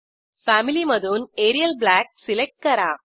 family मधून Arial black select करा